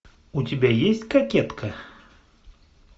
у тебя есть кокетка